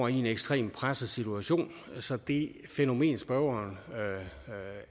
i en ekstremt presset situation så det fænomen spørgeren